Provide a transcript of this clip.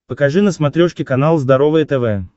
покажи на смотрешке канал здоровое тв